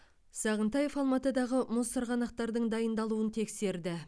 сағынтаев алматыдағы мұз сырғанақтардың дайындалуын тексерді